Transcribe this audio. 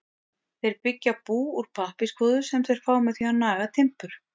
Þeir byggja bú úr pappírskvoðu sem þeir fá með því að naga timbur.